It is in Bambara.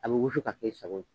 A bɛ wusu k'a k'e sago ye.